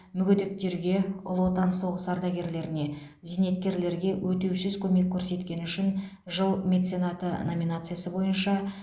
мүгедектерге ұлы отан соғысы ардагерлеріне зейнеткерлерге өтеусіз көмек көрсеткені үшін жыл меценаты номинациясы бойынша